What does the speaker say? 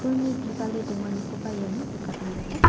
pulni bibale donganikoba iano nikatna gita--